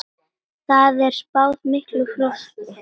Þar er spáð miklu frosti.